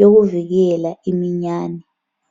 yokuvikela iminyane.